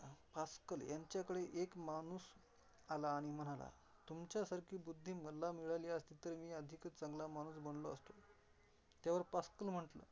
पास्कलं यांच्याकडे एक माणूस आला आणि म्हणाला तुमच्यासारखी बुध्दी मला मिळाली असती, तर मी अधिकच चांगला माणूस बनलो असतो. त्यावर पास्कल म्हणतात.